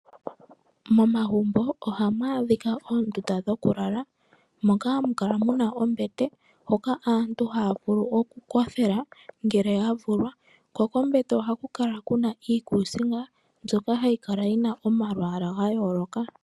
Momagumbo ohamu adhika oondunda dhoku lala moka hamu kala mu na ombete moka aantu haya vulu oku kothela ngele ya vulwa, ko kombete ohaku kala ku na iikusinga mbyoka hayi kala yi na omalwaala ga yooloka.